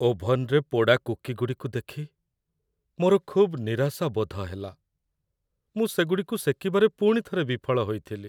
ଓଭନ୍‌ରେ ପୋଡ଼ା କୁକିଗୁଡ଼ିକୁ ଦେଖି ମୋର ଖୁବ୍ ନିରାଶାବୋଧ ହେଲା। ମୁଁ ସେଗୁଡ଼ିକୁ ସେକିବାରେ ପୁଣିଥରେ ବିଫଳ ହୋଇଥିଲି।